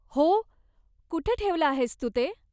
हो, कुठे ठेवलं आहेस तू ते?